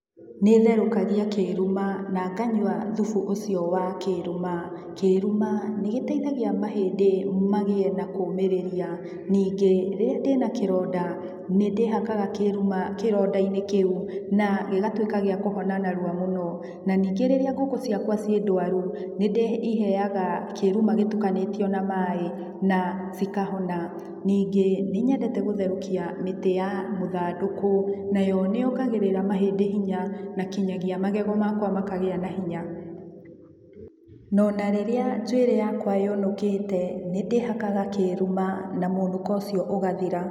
Nĩtherũkagia kĩruma na nganyua thubu ũcio wa kĩruma kĩruma nĩgiteithagia mahĩndĩ magiĩ na kũmĩrĩria ningĩ rĩria ndĩna kĩronda nĩndĩhakaga kĩruma kĩrondainĩ kĩu na gĩgatuika gĩa kũhona narua mũno na ningĩ rĩrĩa ngũkũ ciakwa ciĩ ndwarũ nĩndĩiheaga kĩruma gĩtukanĩtio na maĩ na cikahona ningĩ nĩnyendete gũtherukia mĩtĩ ya mũthandũkũ nayo nĩyongagĩrĩra mahindĩ hinya na kinyagia magego makwa makagĩa na hinya ,no narĩrĩa njuirĩ yakwa yũnukĩte nĩndihakaga kĩrũma na mũnũko ũcio ũgathira.